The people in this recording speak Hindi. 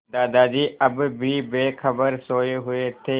दादाजी अब भी बेखबर सोये हुए थे